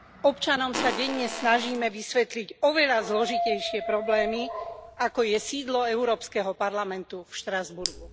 Občanom sa denne snažíme vysvetliť oveľa zložitejšie problémy, ako je sídlo Európskeho parlamentu v Štrasburgu.